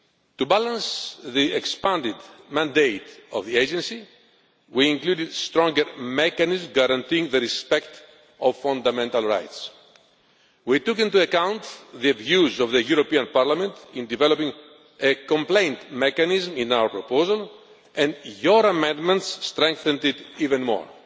To balance the expanded mandate of the agency, we included a stronger mechanism guaranteeing the observance of fundamental rights. We took into account the views of the European Parliament in developing a complaint mechanism in our proposal, and your amendments strengthened it even more.